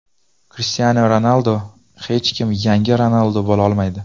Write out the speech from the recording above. Krishtianu Ronaldu: Hech kim yangi Ronaldu bo‘la olmaydi.